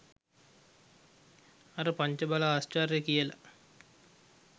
අර පංච බල ආශ්චර්යය කියල